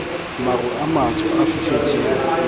maru a matsho a fifetseng